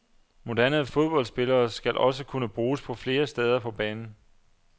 Moderne fodboldspillere skal også kunne bruges på flere steder på banen.